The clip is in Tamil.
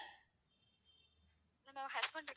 என்னோட husband இருக்காங்க.